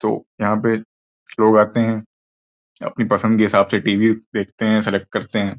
तो यहां पे लोग आते हैं अपनी पसंद के हिसाब से टीवी देखते हैं सेलेक्ट करते हैं।